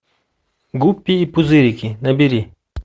гуппи и пузырики набери